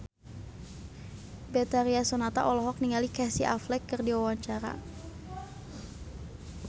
Betharia Sonata olohok ningali Casey Affleck keur diwawancara